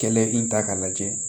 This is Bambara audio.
Kɛlɛ in ta k'a lajɛ